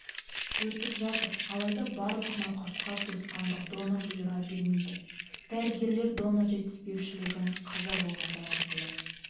өтіп жатыр алайда барлық науқасқа туысқандық донор бұйыра бермейді дәрігерлер донор жетіспеушілігін қаза болғандар арқылы